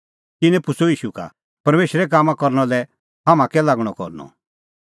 तिन्नैं पुछ़अ ईशू का परमेशरे कामां करना लै हाम्हां कै लागणअ करनअ